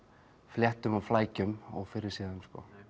fléttum og flækjum ófyrirséðum